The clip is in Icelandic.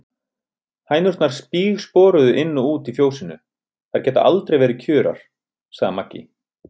Hænurnar spígsporuðu inn og út í fjósinu, þær geta aldrei verið kjurar, sagði Maggi.